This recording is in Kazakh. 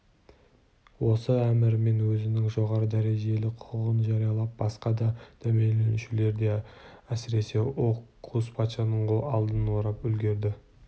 осы әмірімен өзінің жоғары дәрежелі құқығын жариялап басқа да дәмеленушілердің де әсіресе оукус патшаның алдын орап үлгірді